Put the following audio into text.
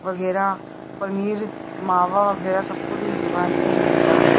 वगैरा पनीर मावा वगैरा सब कुछ इस दुकान पे मिलता हैं।